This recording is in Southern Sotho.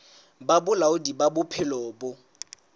ba bolaodi ba bophelo bo